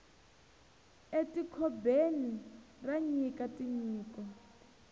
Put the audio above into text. e ti kobeni ra nyika tinyiko